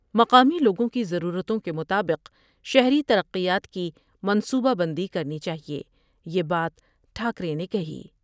مقامی لوگوں کی ضرورتوں کے مطابق شہری ترقیات کی منصوبہ بندی کرنی چاہئے یہ بات ٹھا کرے نے کہی ۔